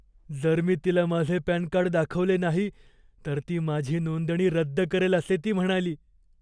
जर मी तिला माझे पॅन कार्ड दाखवले नाही तर ती माझी नोंदणी रद्द करेल असे ती म्हणाली.